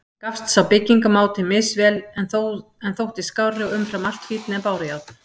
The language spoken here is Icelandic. Gafst sá byggingarmáti misvel, en þótti skárri og umfram allt fínni en bárujárn.